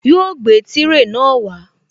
Yóò gbé tírè náà wá